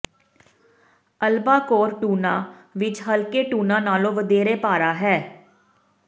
albacore tuna ਵਿੱਚ ਹਲਕੇ tuna ਨਾਲੋਂ ਵਧੇਰੇ ਪਾਰਾ ਹੈ